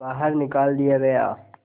बाहर निकाल दिया गया